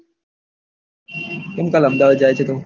કેમ કાલ અમદાવાદ જાય છે તું